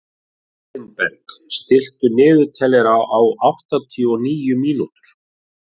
Mildinberg, stilltu niðurteljara á áttatíu og níu mínútur.